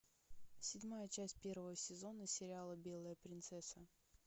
седьмая часть первого сезона сериала белая принцесса